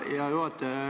Aitäh, hea juhataja!